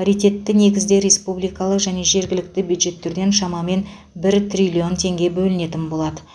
паритетті негізде республикалық және жергілікті бюджеттерден шамамен бір триллион теңге бөлінетін болады